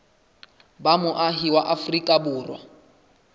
ba moahi wa afrika borwa